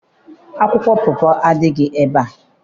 Akwụkwọ pọpọ adịghị ebea.